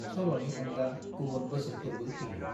सल'नि अनगा गुबुन बोसोनफोरबो होयो।